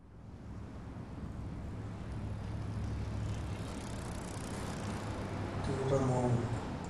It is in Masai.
keidimayu nesha el nino nemesapuku oleng nelo lidoari loo nkalusuni are o tikitam o ongwan